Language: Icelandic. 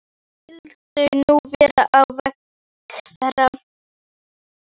Hvað skyldi nú verða á vegi þeirra?